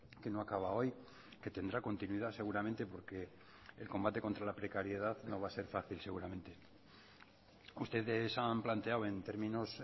que no acaba hoy que tendrá continuidad seguramente porque el combate contra la precariedad no va a ser fácil seguramente ustedes han planteado en términos